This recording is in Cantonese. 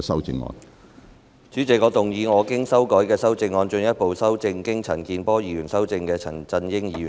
主席，我動議我經修改的修正案，進一步修正經陳健波議員修正的陳振英議員議案。